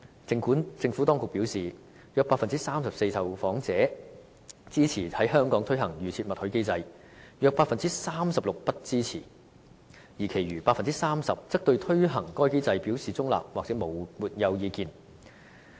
政府當局表示，約 34% 受訪者支持在香港推行"預設默許"機制，約 36% 不支持，而其餘的 30% 則對推行該機制表示中立或沒有意見。